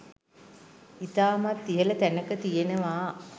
ඉතාමත් ඉහල තැනක තියෙනවා.